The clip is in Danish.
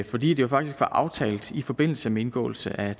fordi det jo faktisk var aftalt i forbindelse med indgåelse af